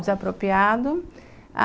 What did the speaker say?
Desapropriado.